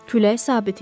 Külək sabit idi.